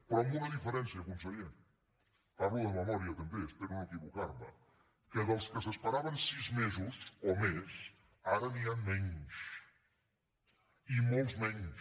però amb una diferència conseller parlo de memòria també espero no equivocar me que dels que s’esperaven sis mesos o més ara n’hi ha menys i molts menys